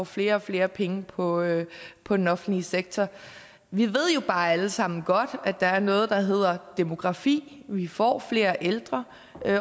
flere og flere penge på på den offentlige sektor vi ved jo bare alle sammen godt at der er noget der hedder demografi vi får flere ældre